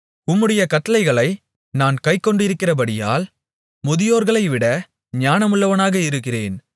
உம்முடைய கட்டளைகளை நான் கைக்கொண்டிருக்கிறபடியால் முதியோர்களைவிட ஞானமுள்ளவனாக இருக்கிறேன்